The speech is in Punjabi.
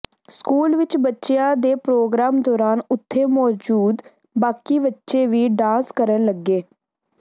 ਸਕੂਲ ਵਿਚ ਬੱਚਿਆਂ ਦੇ ਪ੍ਰੋਗਰਾਮ ਦੌਰਾਨ ਉੱਥੇ ਮੌਜੂਦ ਬਾਕੀ ਬੱਚੇ ਵੀ ਡਾਂਸ ਕਰਨ ਲੱਗੇ